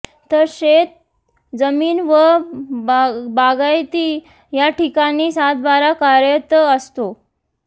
तर शेतजमीन व बागायती या ठिकाणी सातबारा कार्यरत असतो